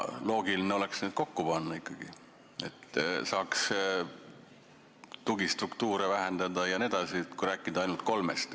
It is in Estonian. Loogiline oleks need ametid ikkagi kokku panna, et saaks tugistruktuure vähendada jne, kui rääkida ainult kolmest ametist.